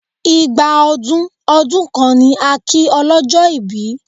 Ìgbà ọdún ọdún kan ni a kí ọlọ́jọ́ ìbí